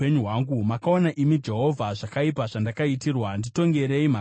Makaona imi Jehovha, zvakaipa zvandakaitirwa. Nditongerei mhaka yangu!